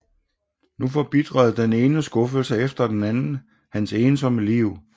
Nu forbitrede den ene skuffelse efter den anden hans ensomme liv